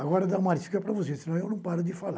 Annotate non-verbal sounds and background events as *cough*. Agora eu vou dar uma *unintelligible* para vocês, senão eu não paro de falar.